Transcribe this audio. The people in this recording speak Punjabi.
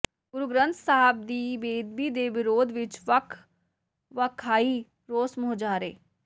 ਗੁਰੂ ਗ੍ਰੰਥ ਸਾਹਿਬ ਦੀ ਬੇਅਦਬੀ ਦੇ ਵਿਰੋਧ ਵਿੱਚ ਵੱਖ ਵੱਖ ਥਾਈਂ ਰੋਸ ਮੁਜ਼ਾਹਰੇ